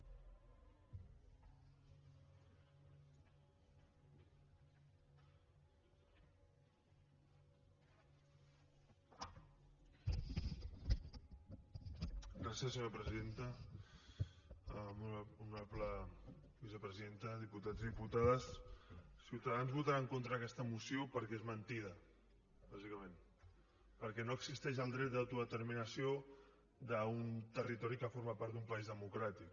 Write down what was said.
molt honorable vicepresidenta diputats i diputades ciutadans votarà en contra d’aquesta moció perquè és mentida bàsicament perquè no existeix el dret d’autodeterminació d’un territori que forma part d’un país democràtic